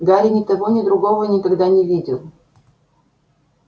гарри ни того ни другого никогда не видел